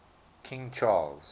king charles